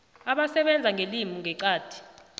abasebenza ngelimi ngeqadi